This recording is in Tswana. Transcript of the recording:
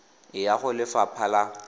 e ya go lefapha la